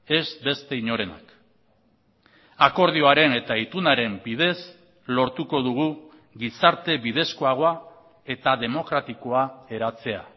ez beste inorenak akordioaren eta itunaren bidez lortuko dugu gizarte bidezkoagoa eta demokratikoa eratzea